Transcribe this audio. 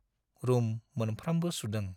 Room मोनफ्रामबो सुदों।